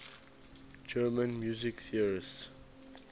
german music theorists